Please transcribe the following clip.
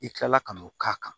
I kilala ka n'o k'a kan